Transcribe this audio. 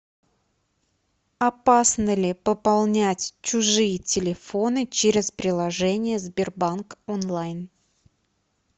опасно ли пополнять чужие телефоны через приложение сбербанк онлайн